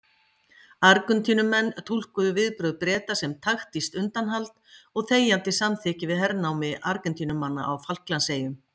Argentínumenn túlkuðu viðbrögð Breta sem taktískt undanhald og þegjandi samþykki við hernámi Argentínumanna á Falklandseyjum.